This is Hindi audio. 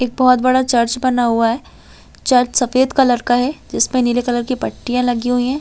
एक बहुत बड़ा चर्च बना हुआ है चर्च सफेद कलर का है जिसपे नीले कलर की पट्टिया लगी हुई है।